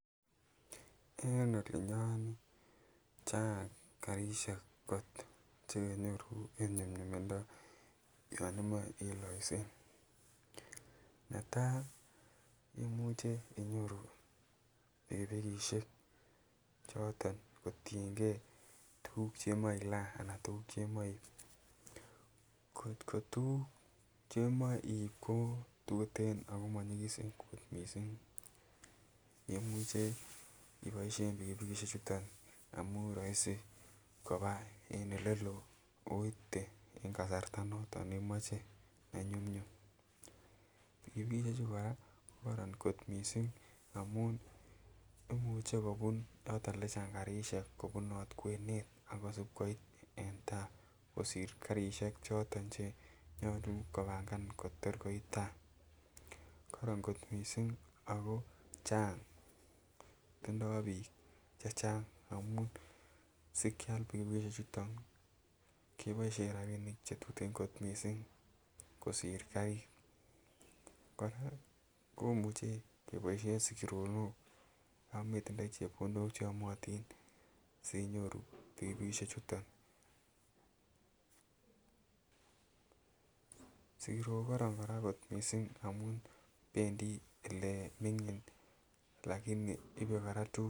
Eng olii nyon chang karisiek chekinyoru en nyumnyumindo yon imoe en loiset. Netai imuche inyoru pikipikisiek choton kotiengei tuguk chemoe ilaa anan tuguk chemoe iib. Kotko tuguk chemoche iib kototuten ako monyigisen kot missing imuche iboisien pikipikisiek chuton amun roisi koba en eleloo akoite en kasarta noton neimoche nenyumnyum. Pikipikisiek chu kora kokoron kot missing amun imuche kobun yoton yechang karisiek kobunot kwenet akosib koit en taa kosir karishek choton chenyolu kobangan kotor koit taa. Koron kot missing ako chang tindoo biik chechang amun sikial pikipikisiek chuton keboisien rapinik chetuten kot missing kosir karit. Kora komuche keboisien sigironok yan metindoi chepkondok cheyomotin sinyoru pikipikisiek chuton. Sigirok kokoron kora kot missing amun bendii elemingin lakini ibe kora tuguk